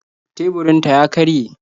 Teburinta ya karye